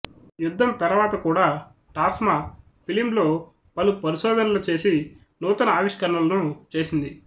యుద్ధం తర్వాత కూడా టాస్మా ఫిలింలో పలు పరిశోధనలు చేసి నూతన ఆవిష్కరణలను చేసింది